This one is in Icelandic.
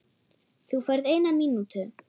Þú færð eina mínútu.